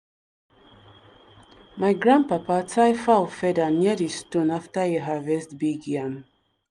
my grandpapa tie fowl feather near di stone after e harvest big yam.